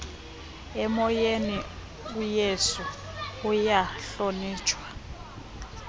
emoyeni uyesu uyahlonitshwa